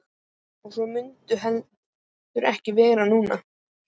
Og svo mun heldur ekki verða núna!